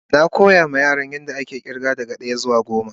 Na koya ma Yaran yan da ake irga daga daya zuwa goma.